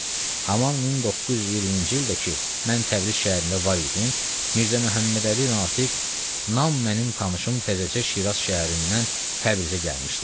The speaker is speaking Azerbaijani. Haman 1920-ci ildə ki mən Təbriz şəhərində var idim, Mirzə Məhəmmədəli Natiq nam mənim tanışım təzəcə Şiraz şəhərindən Təbrizə gəlmişdi.